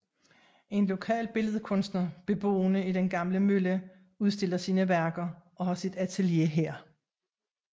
En lokal billedkunstner beboende i den gamle mølle udstiller sine værker og har sit atelier her